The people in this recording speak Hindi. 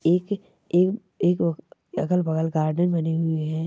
एक ए क अगल बगल गार्डन बने हुए है।